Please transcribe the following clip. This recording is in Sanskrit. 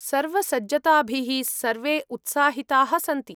सर्वसज्जताभिः सर्वे उत्साहिताः सन्ति।